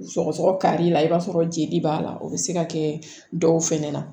Sɔgɔsɔgɔ kari la i b'a sɔrɔ jeli b'a la o bɛ se ka kɛ dɔw fɛnɛ na